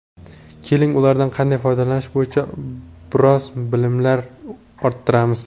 Keling, ulardan qanday foydalanish bo‘yicha biroz bilimlar orttiramiz.